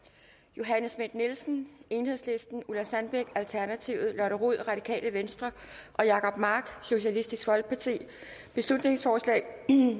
johanne schmidt nielsen ulla sandbæk lotte rod og jacob mark beslutningsforslag